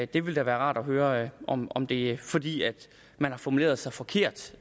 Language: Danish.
det ville da være rart at høre om om det er fordi man har formuleret sig forkert